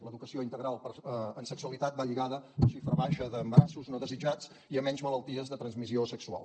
l’educació integral en sexualitat va lligada a una xifra baixa d’embarassos no desitjats i a menys malalties de transmissió sexual